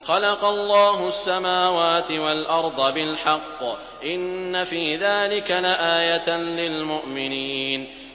خَلَقَ اللَّهُ السَّمَاوَاتِ وَالْأَرْضَ بِالْحَقِّ ۚ إِنَّ فِي ذَٰلِكَ لَآيَةً لِّلْمُؤْمِنِينَ